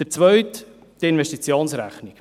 Der zweite ist die Investitionsrechnung.